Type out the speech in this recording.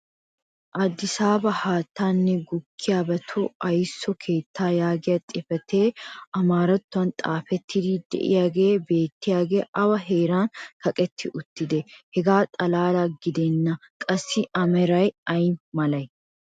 Addisaaba haattaanne gukkiyaabatu aysso keettaa yaagiya xifatee amaarattuwan xaafettidi diyaagee beetiyaagee awa heeran kaqetti uttidee? hegaa xalaala gidennan qassi a meray ay malatii?